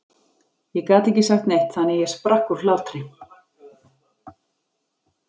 Ég gat ekki sagt neitt þannig að ég sprakk úr hlátri.